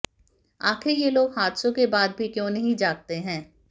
आखिर ये लोग हादसों के बाद भी क्यों नहीं जागते हैं